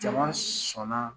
Jama sɔnna